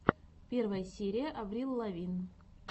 первая серия аврил лавин